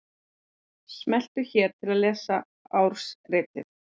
Smelltu hér til að lesa ársritið